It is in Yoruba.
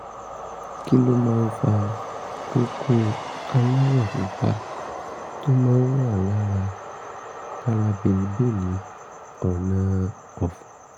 kí ló máa ń fa kókó aláwọ̀ pupa tó máa ń wà lára lára bèlíbèlí ọ̀nà-ọ̀fun?